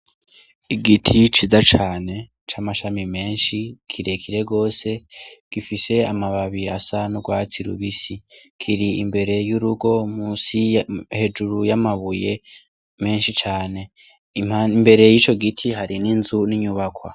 Igiti ciza cane c' amashami menshi kire kire gose gifise amababi asa n' ugwatsi rubisi, kiri imbere y' urugo musi hejuru y' amabuye menshi cane imbere yico giti hari n' inzu n' inyubakwa.